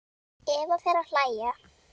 Eva fer að hlæja.